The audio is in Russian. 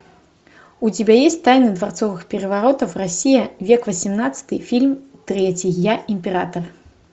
у тебя есть тайны дворцовых переворотов россия век восемнадцатый фильм третий я император